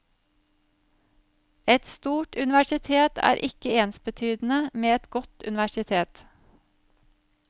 Et stort universitet er ikke ensbetydende med et godt universitet.